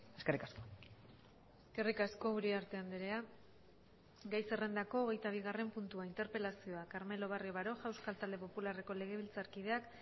eskerrik asko eskerrik asko uriarte andrea gai zerrendako hogeita bigarren puntua interpelazioa carmelo barrio baroja euskal talde popularreko legebiltzarkideak